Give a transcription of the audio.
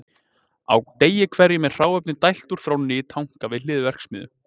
Á degi hverjum er hráefni dælt úr þrónni í tanka við hlið verksmiðju.